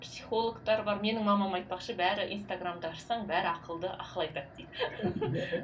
психологтар бар менің мамам айтпақшы бәрі инстаграмды ашсаң бәрі ақылды ақыл айтады дейді